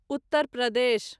Uttar Pradesh